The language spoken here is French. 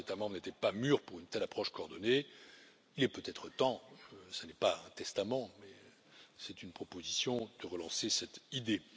Certains États membres n'étaient pas mûrs pour une telle approche coordonnée et il est peut être temps ce n'est pas un testament, c'est une proposition de relancer cette idée.